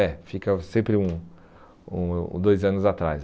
É, fica sempre um um dois anos atrás.